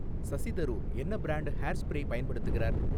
சசி தரூர் என்ன brand hair spray பயன்படுத்துகிறார்?